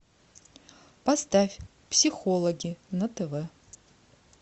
поставь психологи на тв